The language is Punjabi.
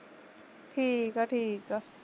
ਠੀਕਾ ਠੀਕਾ